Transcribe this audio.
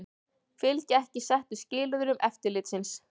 Fylgja ekki settum skilyrðum eftirlitsins